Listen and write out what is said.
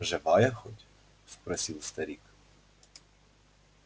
живая хоть спросил старик